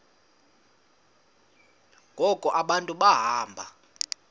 ngoku abantu behamba